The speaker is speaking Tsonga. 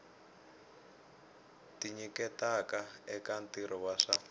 tinyiketaka eka ntirho wa swa